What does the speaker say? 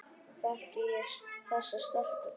Þekki ég þessa stelpu?